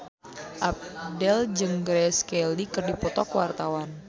Abdel jeung Grace Kelly keur dipoto ku wartawan